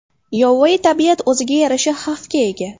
Yovvoyi tabiat o‘ziga yarasha xavfga ega.